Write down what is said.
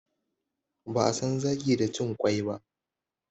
Ba'a san zaki da cin ƙwai ba.